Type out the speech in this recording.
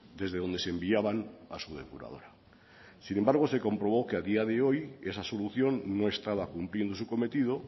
desde donde se enviaban a su depuradora sin embargo se comprobó que a día de hoy esa solución no estaba cumpliendo su cometido